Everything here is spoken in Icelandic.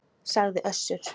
sagði Össur.